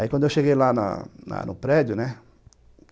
Aí, quando eu cheguei lá na na no prédio, né?